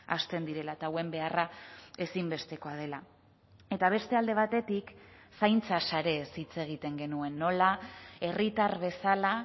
hasten direla eta hauen beharra ezinbestekoa dela eta beste alde batetik zaintza sareez hitz egiten genuen nola herritar bezala